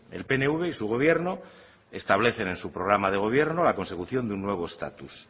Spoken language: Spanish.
el pnv y su gobierno establecen en su programa de gobierno la consecución de un nuevo estatus